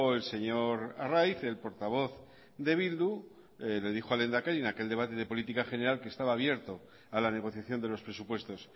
el señor arraiz el portavoz de bildu le dijo al lehendakari en aquel debate de política general que estaba abierto a la negociación de los presupuestos